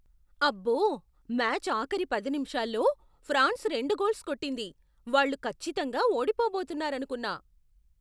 అబ్బో! మ్యాచ్ ఆఖరి పది నిముషాల్లో ఫ్రాన్స్ రెండు గోల్స్ కొట్టింది! వాళ్ళు ఖచ్చితంగా ఓడిపోబోతున్నారనుకున్నా.